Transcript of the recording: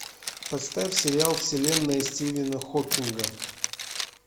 поставь сериал вселенная стивена хокинга